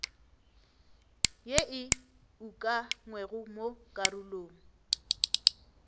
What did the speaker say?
ye e ukangwego mo karolong